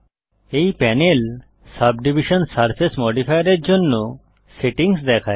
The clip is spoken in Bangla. এই প্যানেল সাবডিভিশন সারফেস মডিফায়ারের জন্য সেটিংস দেখায়